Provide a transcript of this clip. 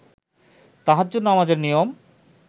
তাহাজ্জুদ নামাজের নিয়ম